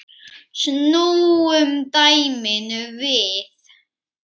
Snúum dæminu við.